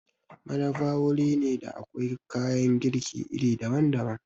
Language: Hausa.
Madafa wuri ne da akwai kayan girki iri daban-daban.